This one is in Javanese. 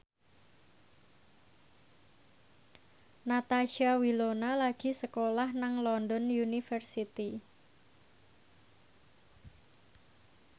Natasha Wilona lagi sekolah nang London University